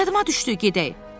Yadıma düşdü, gedək.